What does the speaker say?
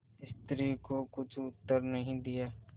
स्त्री को कुछ उत्तर नहीं दिया